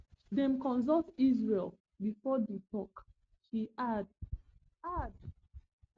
dem consult israel bifor di tok she add add